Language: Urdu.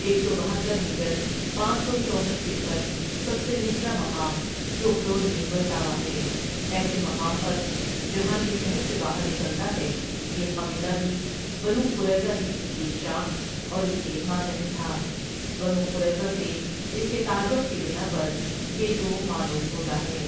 ایک سو بہتر میٹر پانچ سو چوسٹھ فٹ پر سب سے نچلا مقام سوخڈول میں ولتاوا ہے، ایسے مقام پر جہاں یہ شہر سے باہر نکلتا ہے یہ قبیلہ بھی بنوقریظہ ہی کی ایک شاخ اور اس کے ماتحت تھا، بنوقریظہ سے اس کے تعلق کی بناء پریہ تومعلوم ہوتا ہے ۔